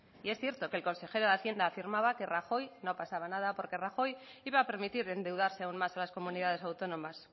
y es cierto que el consejero de hacienda afirmaba que rajoy no pasaba nada porque rajoy iba a permitir endeudarse aún más a las comunidades autónomas